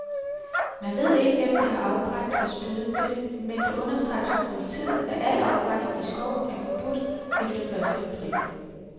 Man ved ikke, hvem der har afbrændt og spiddet det, men det understreges fra politiet, at al afbrænding i skoven er forbudt efter første april.